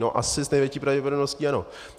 No asi s největší pravděpodobností ano.